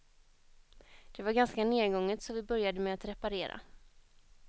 Det var ganska nergånget så vi började med att reparera.